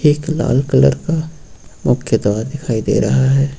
एक लाल कलर का मुख्य द्वार दिखाई दे रहा है।